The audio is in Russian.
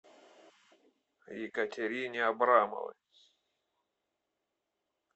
екатерине абрамовой